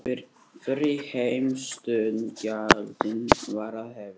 Fyrri heimsstyrjöldin var að hefjast.